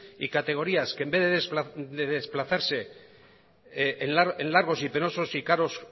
y categorías que en vez de desplazarse en largos y penosos y caros